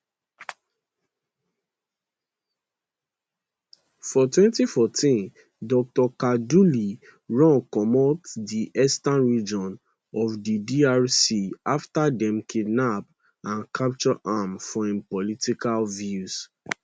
for 2014 dr kaduli run comot di eastern region of di drc afta dem kidnap and capture am for im political views